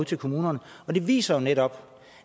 til kommunerne og det viser jo netop